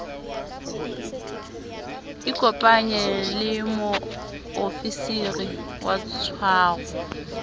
ikopanye le moofisiri wa tshwaro